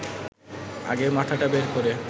আগে মাথাটা বের করে